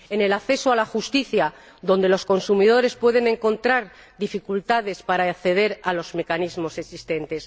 en el acceso a la justicia, donde los consumidores pueden encontrar dificultades para acceder a los mecanismos existentes.